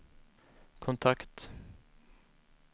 kontakt